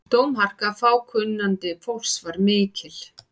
Dómharka fákunnandi fólks var mikil.